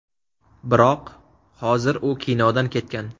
Biroq hozir u kinodan ketgan.